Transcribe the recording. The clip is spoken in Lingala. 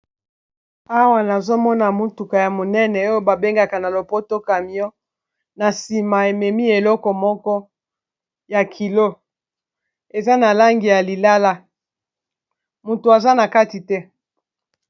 Awa nazomona motuka ya monene oyo babengaka na lopoto camion na nsima ememi eleko moko ya kilo eza na langi ya lilala moto aza na kati te.